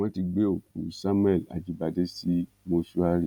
wọn ti gbé òkú samuel ajíbádé sí mọṣúárì